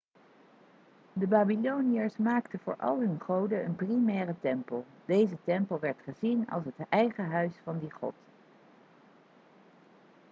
de babyloniërs maakten voor al hun goden een primaire tempel deze tempel werd gezien als het eigen huis van die god